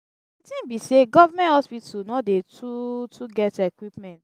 di tin be sey government hospital no dey too too get equipment.